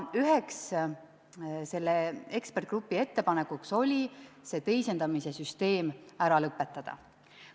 Üheks selle eksperdigrupi ettepanekuks oligi teisendamise süsteem ära lõpetada.